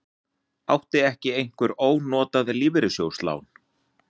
Átti ekki einhver ónotað lífeyrissjóðslán?